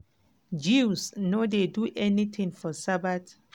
jews no dey do anytin for sabbath.